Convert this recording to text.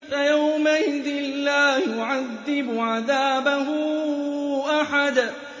فَيَوْمَئِذٍ لَّا يُعَذِّبُ عَذَابَهُ أَحَدٌ